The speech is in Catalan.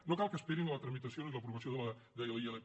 no cal que esperin la tramitació ni l’aprovació de la ilp